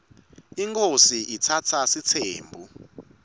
inkhosi itsatsa sitsembu